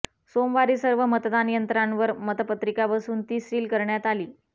सोमवारी सर्व मतदान यंत्रांवर मतपत्रिका बसवून ती सील करण्यात आली